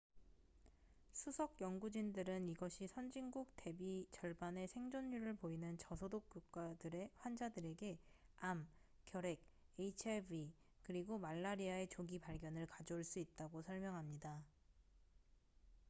수석 연구진들은 이것이 선진국 대비 절반의 생존율을 보이는 저소득 국가들의 환자들에게 암 결핵 hiv 그리고 말라리아의 조기 발견을 가져올 수 있다고 설명합니다